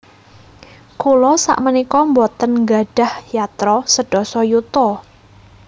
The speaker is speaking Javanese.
Kula sakmenika mboten nggadhah yatra sedasa yuta